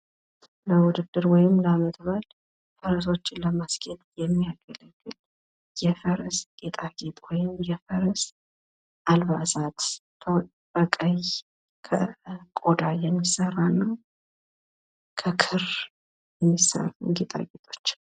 ለዉድድር ወይም ለዓመት በዓል ፈረሶችን ለማስጌጥ የሚያገለግል የፈረስ ጌጣጌጥ ወይም የፈረስ አልባሳት። በቀይ ከቆዳ የሚሰራ ወይም ከክር የሚሰራ ጌጣጌጦች።